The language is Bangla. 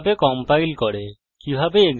কিভাবে compile করে